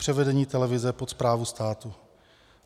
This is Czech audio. Převedení televize pod správu státu.